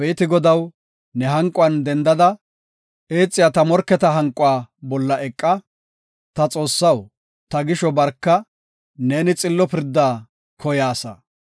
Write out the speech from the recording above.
Abeeti Godaw, ne hanquwan dendada, eexiya ta morketa hanquwa bolla eqa; ta Xoossaw, ta gisho barka; neeni xillo pirda koyaasa.